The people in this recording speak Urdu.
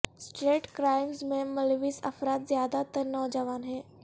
سٹریٹ کرائمز میں ملوث افراد زیادہ تر نوجوان ہیں